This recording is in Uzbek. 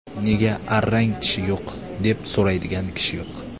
Nega arrang tishi yo‘q, deb So‘raydigan kishi yo‘q.